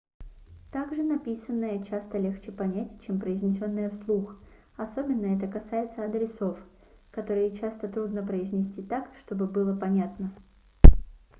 также написанное часто легче понять чем произнесенное вслух особенно это касается адресов которые часто трудно произнести так чтобы было понятно